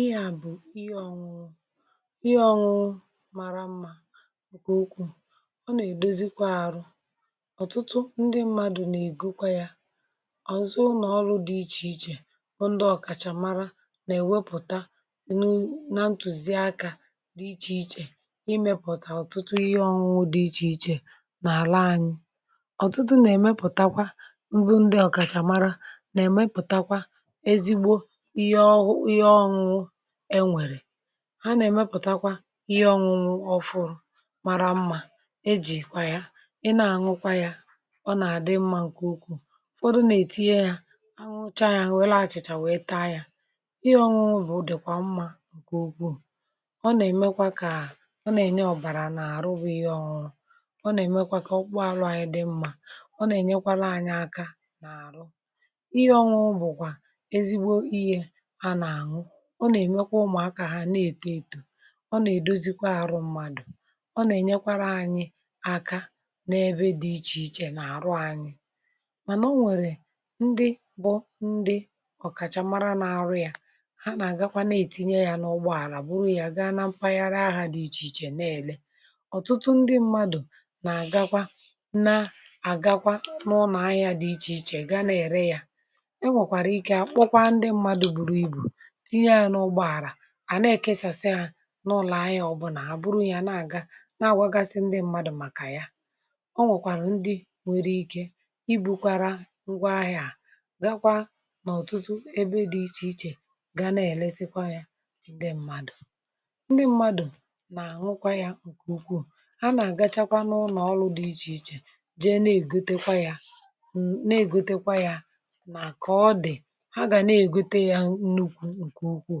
ihe ọṅụṅụ mara mmȧ okwu okwu ọ nà èdozikwa arụ ọtụtụ ndị mmadù nà ègokwa yȧ ọ̀zọ nọ̀ọrụ dị ichè ichè ọ ndị ọ̀kàchàmara nà èwepùta enu nà ntùzi akȧ dị ichè ichè imėpụ̀tà ọtụtụ ihe ọṅụṅụ dị ichè ichè nà àla anyị ọ̀tụtụ nà èmepùtakwa mbụ ndị ọ̀kàchàmara nà èmepùtakwa ha na-èmepụ̀takwa ihe ọṅụṅụ ọfụ̇ mara mma e jì kwà ya ị na-àṅụkwa ya ọ na-àdị mmȧ ǹkè ụkwụ̇ ụkwụ dụ na-ètu ya aṅụcha ya welaa achị̀chà wee taa ya ihe ọṅụṅụ bụ̀ o dèkwà mmȧ ǹkè ụkwụ̇ ọ na-èmekwa kà ọ na-ènye ọ̀bàrà nà-àrụ bụ ihe ọṅụrụ ọ na-èmekwa kà ọ kpụ àlụ anyị dị mma ọ na-ènyekwara anyị aka ihe ọṅụṅụ bụ̀kwà ezigbo ihė a na-àṅụ ọ nà-èmekwa ụmụ̀ akȧ hȧ na-èto ètò ọ nà-èdozikwa àrụ mmadụ̀ ọ nà-ènyekwara anyị aka n’ebe dị̇ ichè ichè nà àrụ anyị mànà o nwèrè ndị bụ ndị ọ̀kàchà mara n’arụ ya ha nà-àgakwa na-ètinye ya n’ụgbọ àlà bụrụ ya ga na mpaghara ahụ̇ dị ichè ichè na-èle ọ̀tụtụ ndị mmadụ̀ nà-àgakwa na àgakwa nụụ nà ahịa dị ichè ichè gaa na-ère ya à na-ekesàsị ȧ n’ụlọ̀ anya ọbụna, àbụrụ ya na-àga na-àgwagasi ndị mmadụ̇ màkà ya o nwèkwàrà ndị nwèrè ike ibukwara ngwa ahịa à gakwa n’ọ̀tụtụ ebe dị̇ ichè ichè ga na-elesekwa yȧ ndị mmadụ̀ ndị mmadụ̀ nà nwụkwa ya ǹkèukwuù ha nà-àgachakwa n’ụnọ̀ ọlụ̇ dị ichè ichè jee na-ègotekwa ya nà kà ọ dị̀ ha gà na-ègote ya nne ukwuù ọ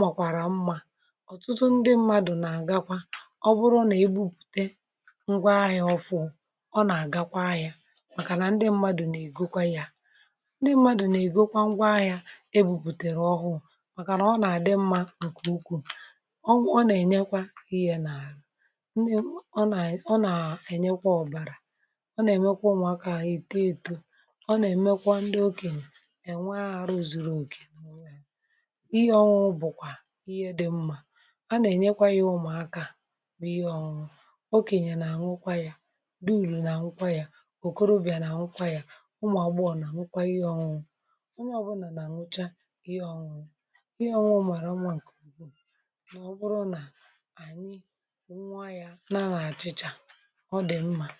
màkwàrà mmȧ ọ̀tụtụ ndị mmadụ̀ nà-àgakwa ọ bụrụ nà e bupùte ngwa ahịȧ ọfụụ ọ nà-àgakwa ahịȧ màkà nà ndị mmadụ̀ nà-èkokwa yà ndị mmadụ̀ nà-èkokwa ngwa ahịȧ ebupùtèrè ọhụụ̇ màkà nà ọ nà-àdị mmȧ ǹkèukwù ọ wụ ọ nà-ènyekwa ihe nà ndị ọ nà ọ nà-ènyekwa ọ̀bàrà ọ nà-èmekwa ụmụ̀akȧ à yà èto èto ọ nà-èmekwa ndị okènyè ènwe àhụ zuru òkè ihe dị mmȧ a nà-ènyekwa ihe ụmụ̀akȧ bụ ihe ọṅụṅụ okènyè nà-àṅụkwa ya dị ùru̇ nà àṅụkwa ya okorobịà nà-àṅụkwa ya ụmụ̀agbụọ̇ nà-àṅụkwa ihe ọṅụṅụ ụmụ̀ ọ nà-àṅụcha ihe ọṅụṅụ ihe ọṅụ̀ mara ụmụ̀à ǹkèbù bụrụ nà ànyị ǹwụa ya nȧ nà àchị̇chȧ ọ dị̀ mmȧ